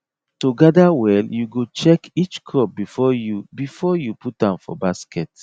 to gather well you go check each crop before you before you put am for basket